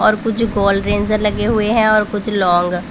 और कुछ गोल रेन्जर लगे हुएं हैं और कुछ लॉन्ग ।